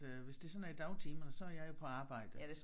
Øh hvis det sådan er i dagtimerne så er jeg jo på arbejde